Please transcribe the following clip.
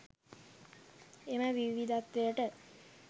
එම විවිධත්වයට